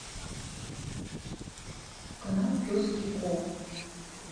канал пес и ко